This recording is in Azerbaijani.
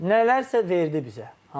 Nələrsə verdi bizə.